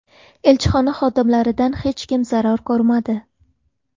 Elchixona xodimlaridan hech kim zarar ko‘rmadi.